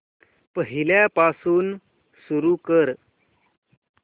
पहिल्यापासून सुरू कर